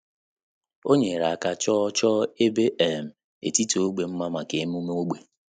Ọ́ nyèrè áká chọ́ọ́ chọ́ọ́ ébé um etiti ógbè mma màkà emume ógbè.